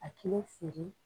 A kilo feere